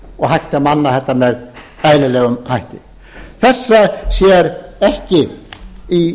og hægt að manna þetta með bærilegum hætti þessa sér ekki stað í